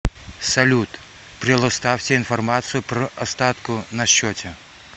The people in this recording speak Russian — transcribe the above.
салют прелоставьте информацию пр остатку на счете